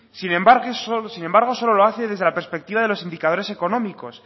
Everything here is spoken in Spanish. sin embargo solo lo hace desde la perspectiva de los indicadores económicos